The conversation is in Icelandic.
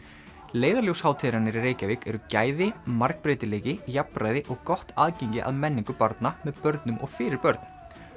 leiðarljós hátíðarinnar í Reykjavík eru gæði margbreytileiki jafnræði og gott aðgengi að menningu barna með börnum og fyrir börn